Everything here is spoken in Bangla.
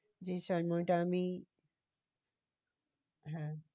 যে সময়টা আমি হ্যাঁ